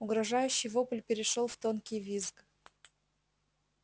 угрожающий вопль перешёл в тонкий визг